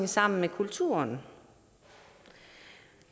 sammen med kulturen